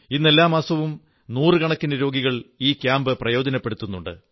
ഇന്ന് എല്ലാ മാസവും നൂറുകണക്കിന് രോഗികൾ ഈ ക്യാമ്പു പ്രയോജനപ്പെടുത്തുന്നുണ്ട്